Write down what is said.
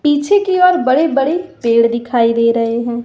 पीछे की और बड़े बड़े पेड़ दिखाई दे रहे हैं।